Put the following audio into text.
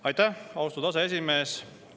Aitäh, austatud aseesimees!